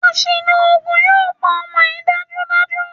Àṣìlò oògùn yóò pa ọmọ yìí dájúdájú.